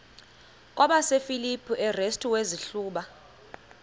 kwabasefilipi restu wazihluba